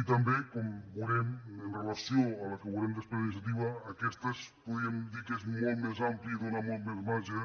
i també com veu·rem amb relació a la que veurem després d’iniciativa aquesta podríem dir que és molt més àmplia i dóna molt més marge